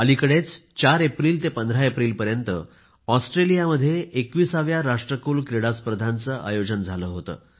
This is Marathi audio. अलीकडेच 4 एप्रिल ते 15 एप्रिल पर्यंत ऑस्ट्रेलिया मध्ये 21व्या राष्ट्रकुल क्रीडा स्पर्धांचे आयोजन झाले होते